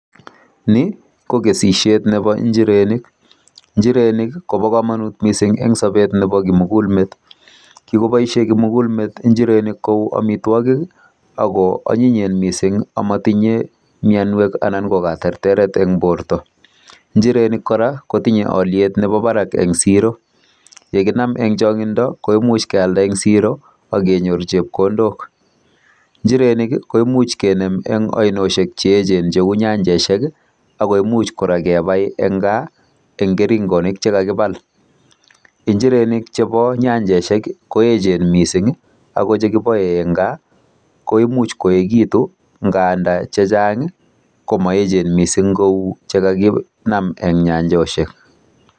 Ni ko kesishet nebo njirenik. Njirenik kobo komonut mising en sobet nebo kimugul met. Kigoboishen kimugul met injirenik kou amitwogik ago onyinyen mising amatinye mianwek anan ko katerteret en borto. Njirenik kora kotinye olyet nebo barak en siro ye kinam en chong'indo koimuch kealda en siro ak kenyor chepkondok. Njirenik koimuch kenyor en oinoshek che eechen cheu nyanjosiek ago imuch kora kebai en gaa en kerengonik che kagibal. Njirenik chebo nyanjosiek ko eechen miising, ago che kiboe en gaa koimuch koegitu ngandan che chang komoeechen mising kou che kaginame ne nyanjosiek.